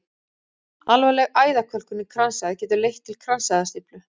Alvarleg æðakölkun í kransæð getur leitt til kransæðastíflu.